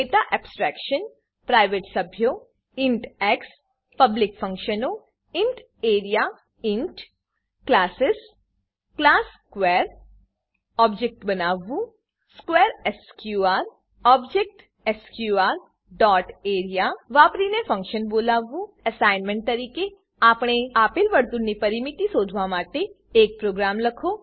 data abstraction private સભ્યો int x public ફંક્શનો int A R E A classes classes class square class square object બનાવવું square S Q R ઓબ્જેક્ટસ્કર dot area વાપરીને function બોલાવવું assignment તરીકે આપેલ વર્તુળની પરિમિતિ શોધવા માટે એક પ્રોગ્રામ લખો